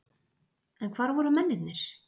En hvar voru mennirnir?